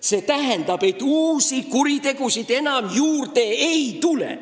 See tähendas, et uusi kuritegusid enam juurde ei tulnud.